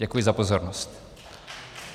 Děkuji za pozornost.